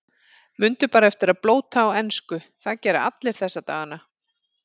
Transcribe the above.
Mundu bara eftir að blóta á ensku, það gera allir þessa dagana.